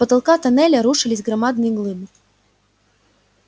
с потолка тоннеля рушились громадные глыбы